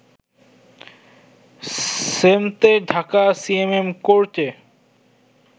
সেমতে Dhaka CMM কোর্টে